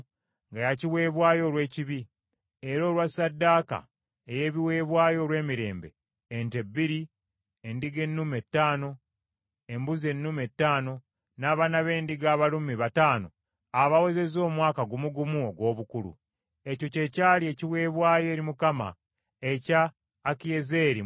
era olwa ssaddaaka ey’ebiweebwayo olw’emirembe: ente bbiri, endiga ennume ttaano, embuzi ennume ttaano, n’abaana b’endiga abalume bataano abawezezza omwaka gumu gumu ogw’obukulu. Ekyo kye kyali ekiweebwayo eri Mukama ekya Akiyezeeri mutabani wa Amisadaayi.